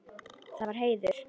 Það var heiður.